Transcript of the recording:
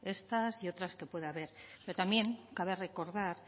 estas y otras que pueda haber pero también cabe recordar